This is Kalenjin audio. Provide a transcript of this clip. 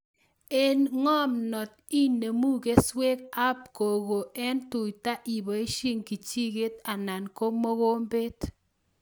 Eng' ng'omnot ,inemu keswek ab koko eng' tuta iboishe kijiket anan ko mokombet